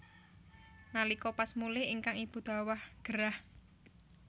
Nalika pas mulih ingkang ibu dhawah gerah